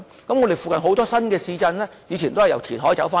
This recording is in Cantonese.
我們附近有很多新市鎮，以前都是由填海得來的。